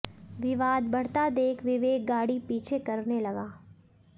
विवाद बढ़ता देख विवेक गाड़ी पीछे करने लगे